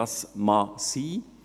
Das kann sein.